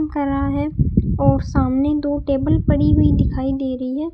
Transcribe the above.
कर रहा है और सामने दो टेबल पड़ी हुई दिखाई दे रही है।